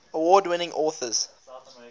award winning authors